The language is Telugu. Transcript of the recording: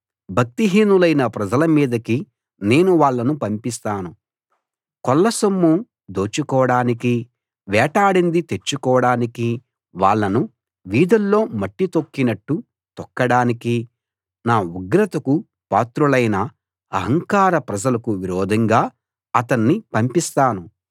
భక్తిహీనులైన ప్రజల మీదకి నేను వాళ్ళను పంపిస్తాను కొల్లసొమ్ము దోచుకోడానికీ వేటాడింది తెచ్చుకోడానికీ వాళ్ళను వీధుల్లో మట్టి తొక్కినట్టు తొక్కడానికీ నా ఉగ్రతకు పాత్రులైన అహంకార ప్రజలకు విరోధంగా అతన్ని పంపిస్తాను